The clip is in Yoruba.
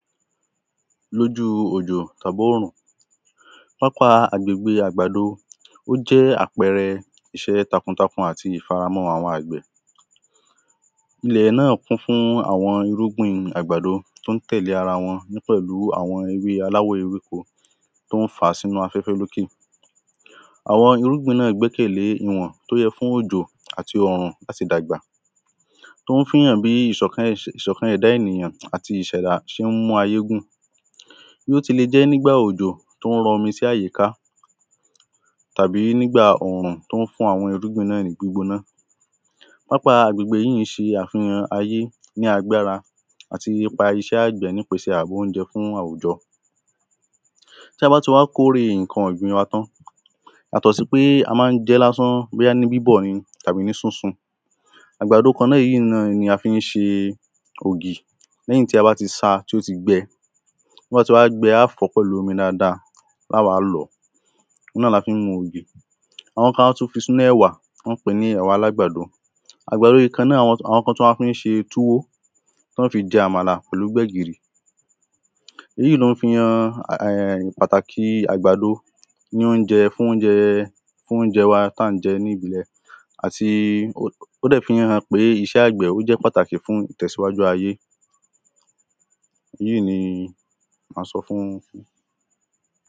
Lójúu òjò tàbórùn, pápá agbègbè àgbàdo ó jé̩ àpe̩re̩ is̩é̩ takuntakun àti ìfaramó̩-o̩n àwo̩n àgbè̩. Ilè̩ náà kún fún àwo̩n irúgbìn àgbàdo tó ń tè̩lé ara wo̩n ní pè̩lú àwo̩n alawò̩ ewéko tó ń fà á sínú afé̩fé̩. Awo̩n irúgbìn náà gbé̩kè̩lé ìwò̩n tó ye̩ fún òjò àti òrùn láti dàgbà. Tó ń fi hàn bí ìs̩ò̩kan ìs̩ò̩kan è̩dá ènìyàn àti ìs̩è̩dá s̩e ń mú ayé gùn. Bí ó ti le jé̩ nígbà òjò tó ń ro̩ omi sí àyíká, tàbí nígbà òrùn tó ń fún àwo̩n irúgbìn náà ní gbígbóná. Pápá àgbègbè yíì ń s̩e àfihàn ayé ní agbára àti ipa isé̩ ágbè̩ nípese oúnje̩ fún àwùjo̩. Ta bá ti wá kórè ǹkan ò̩gbìn wa tán, yàtò̩ sí pé a má: ń je̩ é̩ lásán, bó̩yá ní bíbò̩ àbí ní sísun, àgbàdo kan náà yíì náà ni a fi ń s̩e ògì. Lè̩yìn tí a bá ti sa tó ti gbe̩, tó bá ti wá gbe̩ á fò̩ ó̩ pè̩lú omi dáadáa, á wá lò̩ ó̩. Oun náà la fí ń mu ògì. Àwo̩n kan á tún fi sínú è̩wà, wó̩n á pè é ní è̩wà alágbàdo. Àgbàdo yí kan náà àwo̩n t àwo̩n kán tún wá fí ń s̩e túwó tí wó̩n fi je̩ àmàlà pè̩lú gbè̩gìrì. Èyíì ló ń fi han è̩hn pàtàkì àgbàdo ní óúje̩ fún óúje̩ fún óúje̩ tí à ń je̩ ní ìbílè̩. Àti ó dè̩ fí ń hàn pé is̩é̩ àgbè̩ ó jé̩ is̩é̩ pàtàkì fún ìtè̩síwájú ayé. Yíì ni àso̩tán.